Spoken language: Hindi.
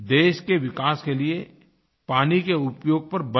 देश के विकास के लिए पानी के उपयोग पर बल दिया